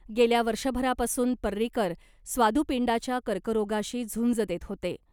गेल्या वर्षभरापासून पर्रीकर स्वादुपिंडाच्या कर्करोगाशी झुंज देत होते .